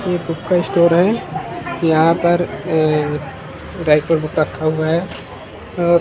ये बुक का स्टोर है यहाँ पर ए राइटर बुक रखा हुआ है अ--